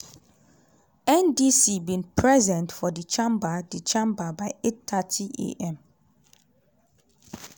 ndc) bin present for di chamber di chamber by 8:30 a.m.